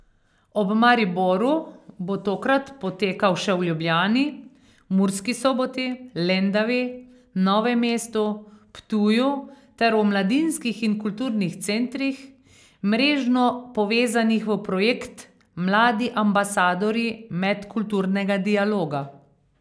Ob Mariboru bo tokrat potekal še v Ljubljani, Murski Soboti, Lendavi, Novem mestu, Ptuju ter v mladinskih in kulturnih centrih, mrežno povezanih v projekt Mladi ambasadorji medkulturnega dialoga.